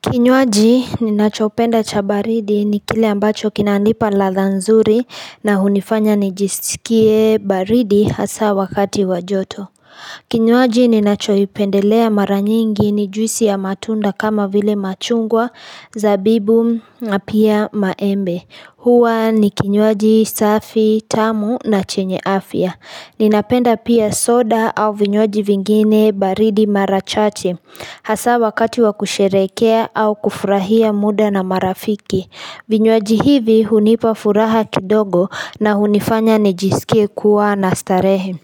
Kinywaji ninachopenda cha baridi ni kile ambacho kinanipa ladha nzuri na hunifanya nijisikie baridi hasaa wakati wa joto. Kinywaji ninachoipendelea maranyingi ni juisi ya matunda kama vile machungwa zabibu na pia maembe. Huwa ni kinywaji safi tamu na chenye afya. Ninapenda pia soda au vinywaji vingine baridi mara chache. Hasaa wakati wa kusherekea au kufurahia muda na marafiki. Vinywaji hivi hunipa furaha kidogo na hunifanya nijisikia kuwa na starehe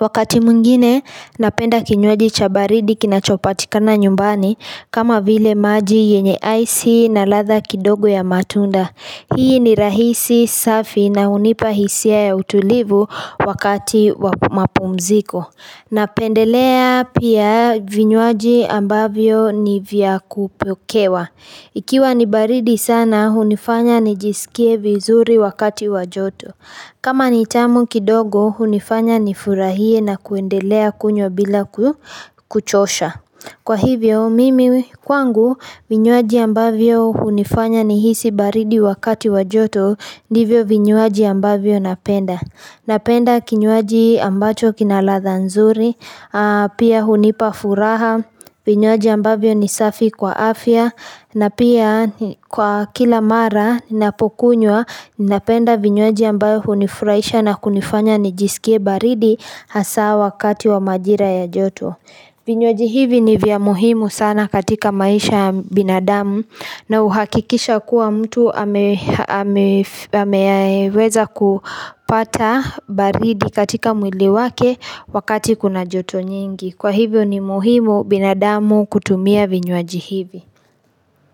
Wakati mwingine napenda kinywaji cha baridi kinachopatikana nyumbani kama vile maji yenye aisi na ladha kidogo ya matunda. Hii ni rahisi safi na hunipa hisia ya utulivu wakati wapumziko Napendelea pia vinywaji ambavyo ni vya kupokewa. Ikiwa ni baridi sana, hunifanya nijisikie vizuri wakati wajoto. Kama ni tamu kidogo, hunifanya nifurahie na kuendelea kunywa bila kuchosha. Kwa hivyo, mimi kwangu, vinywaji ambavyo hunifanya nihisi baridi wakati wa joto, ndivyo vinywaji ambavyo napenda. Napenda kinywaji ambacho kina ladha nzuri, pia hunipafuraha, vinywaji ambavyo nisafi kwa afya, na pia kwa kila mara ninapokunwa, napenda vinywaji ambavyo hunifurahisha na kunifanya nijisikie baridi hasaa wakati wa majira ya joto. Vinywaji hivi ni vya muhimu sana katika maisha binadamu na uhakikisha kuwa mtu ameweza kupata baridi katika mwili wake wakati kuna joto nyingi. Kwa hivyo ni muhimu binadamu kutumia vinyoji hivi.